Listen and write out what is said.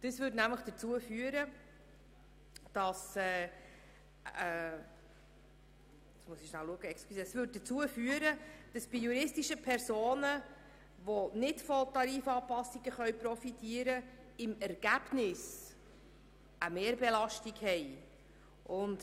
Das würde nämlich dazu führen, dass juristische Personen, die nicht von Tarifanpassungen profitieren können, im Ergebnis eine Mehrbelastung haben.